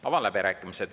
Avan läbirääkimised.